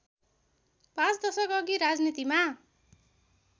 पाँच दशकअघि राजनीतिमा